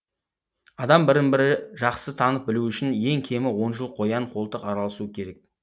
адам бірін бірі жақсы танып білу үшін ең кемі он жыл қоян қолтық араласуы керек